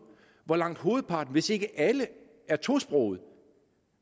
hvor langt hovedparten hvis ikke alle er tosprogede